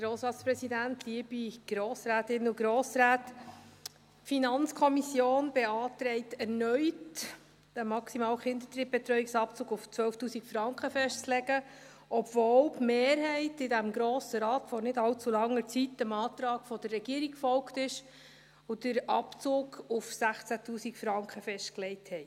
Die FiKo beantragt erneut, den maximalen Kinderdrittbetreuungsabzug bei 12’000 Franken festzulegen, obwohl die Mehrheit in diesem Grossen Rat vor nicht allzu langer Zeit dem Antrag der Regierung gefolgt ist und den Abzug bei 16’000 Franken festgelegt hat.